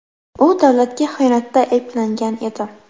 U davlatga xiyonatda ayblangan edi.